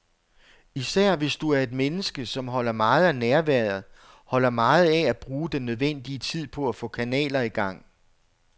Især hvis du er et menneske, som holder meget af nærværet, holder meget af at bruge den nødvendige tid på at få kanaler i gang.